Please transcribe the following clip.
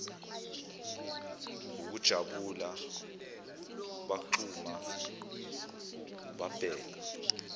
wukujabula bagxuma babheka